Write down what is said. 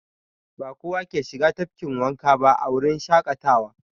Ba kowa ke shiga tafkin wanka ba a wurin shaƙatawa.